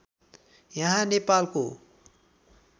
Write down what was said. यहाँ नेपालको